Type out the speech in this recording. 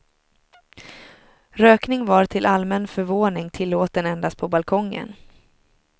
Rökning var till allmän förvåning tillåten endast på balkongen.